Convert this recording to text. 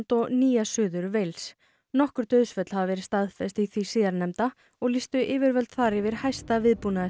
og Nýja Suður nokkur dauðsföll hafa verið staðfest í því síðarnefnda og lýstu yfirvöld yfir hæsta